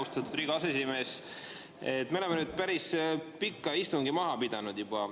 Austatud Riigikogu aseesimees, me oleme päris pika istungi juba maha pidanud.